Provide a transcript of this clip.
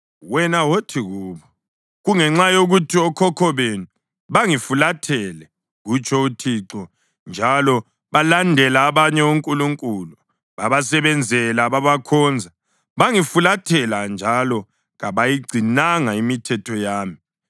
wena wothi kubo, ‘Kungenxa yokuthi okhokho benu bangifulathela,’ kutsho uThixo, ‘njalo balandela abanye onkulunkulu babasebenzela, babakhonza. Bangifulathela njalo kabayigcinanga imithetho yami.